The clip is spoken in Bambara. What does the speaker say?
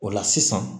O la sisan